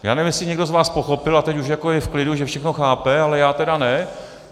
Já nevím, jestli někdo z vás pochopil a teď už je jako v klidu, že všechno chápe, ale já tedy ne.